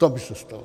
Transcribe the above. To by se stalo.